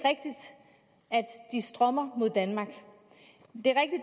de strømmer mod danmark det